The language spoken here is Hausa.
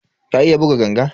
Ka iya buga ganga?